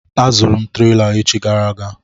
Azụrụ m trela echi gara aga.